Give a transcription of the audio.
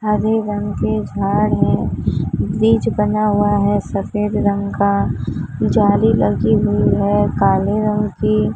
हरे रंग के झाड़ है ब्रिज बना हुआ है सफेद रंग का जाली लगी हुई है काले रंग की--